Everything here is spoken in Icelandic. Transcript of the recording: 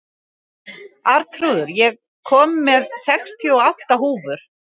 Arnþrúður, ég kom með sextíu og átta húfur!